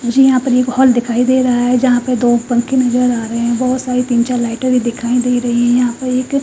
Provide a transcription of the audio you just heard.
मुझे यहां पर एक हॉल दिखाई दे रहा है जहाँ पर दो पंखे नजर आ रहे हैं बहोत सारी तीन चार लाइटे भी दिखाई दे रही है यहां पे एक--